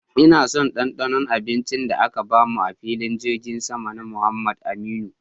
Ina son dandanon abincin da aka bamu a'filin jirgin sama na Muhammad Aminu.